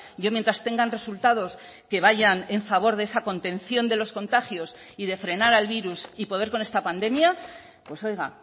yo mientras tengan resultados que vayan en favor de esa contención de los contagios y de frenar al virus y poder con esta pandemia pues oiga